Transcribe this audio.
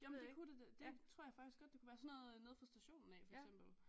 Jamen det kunne det da det tror jeg faktisk godt det kunne være sådan noget nede fra stationen af for eksempel